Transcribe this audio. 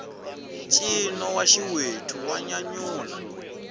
ncino wa xiwethu wa nyanyula